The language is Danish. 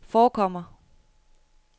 forekommer